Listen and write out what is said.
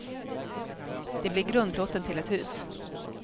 Det blir grundplåten till ett hus.